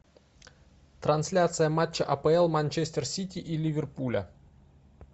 трансляция матча апл манчестер сити и ливерпуля